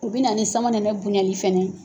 O bɛ na ni samanɛnɛ bonyali fana ye!